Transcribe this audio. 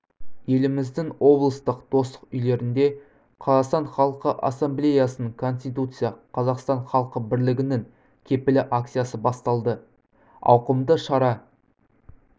еліміздің облыстық достық үйлерінде қазақстан халқы ассамблеясының конституция қазақстан халқы бірлігінің кепілі акциясы басталды ауқымды шара